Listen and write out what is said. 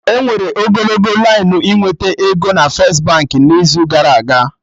Enwere ogologo lainụ ịnweta ego na First Baankị n'izu gara aga